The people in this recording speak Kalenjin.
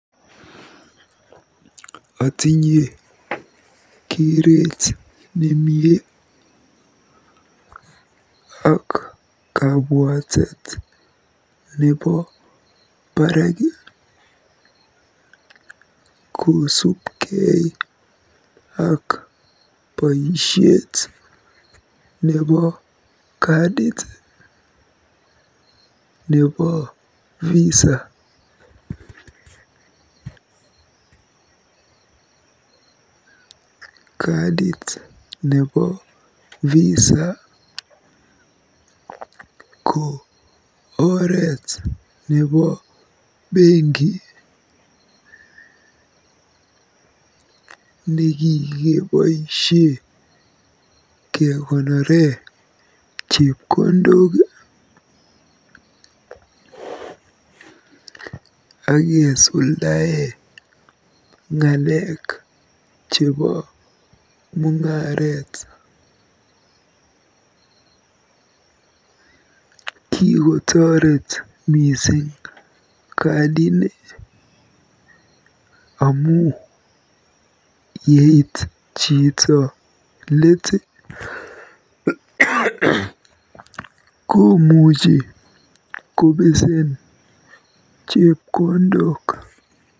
Otinye keret nemie ak kabwatet nebo barak kosubkei ak boisiet nebo kadit nebo Visa. Kadit nebo Visa ko oret nebo benki nekikeboisie kekonore chepkondok akesuldae ng'alek chebo mung'aret. Kikotoret mising kadini amu yeit chito let komuchi kobeseen chepkondok.